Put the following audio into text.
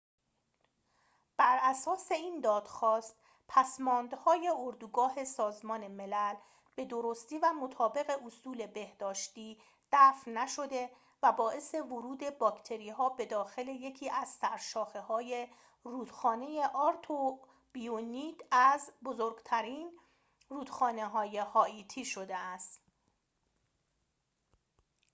براساس این دادخواست پسماندهای اردوگاه سازمان ملل به درستی و مطابق اصول بهداشتی دفع نشده و باعث ورود باکتری‌ها به داخل یکی از سرشاخه‌های رودخانه آرتیبونیت از بزرگترین رودخانه‌های هائیتی شده است